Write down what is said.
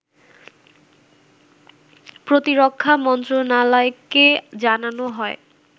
প্রতিরক্ষা মন্ত্রণালয়কে জানানো হয়